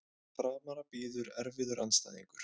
Framara bíður erfiður andstæðingur